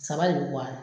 Saba de bɛ bɔ a la